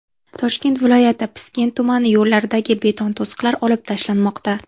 Toshkent viloyati Piskent tumani yo‘llaridagi beton to‘siqlar olib tashlanmoqda.